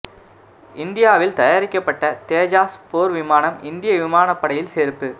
இந்தியாவில் தயாரிக்கப்பட்ட தேஜாஸ் போர் விமானம் இந்திய விமான படையில் சேர்ப்பு